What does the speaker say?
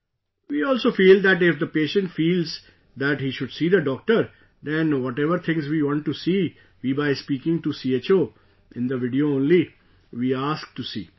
Ji... we also feel that if the patient feels that he should see the doctor, then whatever things we want to see, we, by speaking to CHO, in the video only, we ask to see